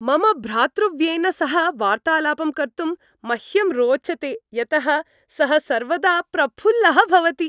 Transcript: मम भ्रातृव्येन सह वार्तालापं कर्तुं मह्यं रोचते, यतः सः सर्वदा प्रफुल्लः भवति।